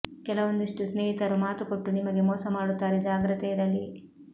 ಕೆಲವೊಂದಿಷ್ಟು ಸ್ನೇಹಿತರು ಮಾತು ಕೊಟ್ಟು ನಿಮಗೆ ಮೋಸ ಮಾಡುತ್ತಾರೆ ಜಾಗ್ರತೆ ಇರಲಿ